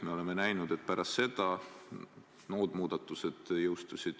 Me oleme näinud, et pärast seda muud muudatused jõustusid.